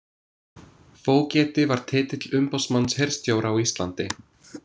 Fógeti var titill umboðsmanns hirðstjóra á Íslandi.